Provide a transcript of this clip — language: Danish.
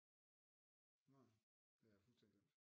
Nå det har jeg fuldstændig glemt